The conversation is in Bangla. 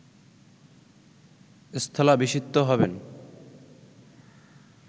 স্থলাভিষিক্ত হবেন